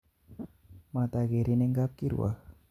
Matakerin eng' kapkirwok.